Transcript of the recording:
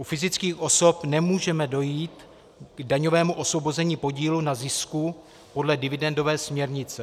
U fyzických osob nemůžeme dojít k daňovému osvobození podílu na zisku podle dividendové směrnice.